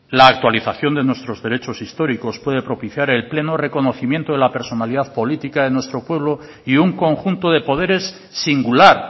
la actualización de nuestros derechos históricos puede propiciar el pleno reconocimiento de la personalidad política de nuestro pueblo y un conjunto de poderes singular